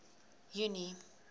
junie